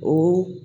O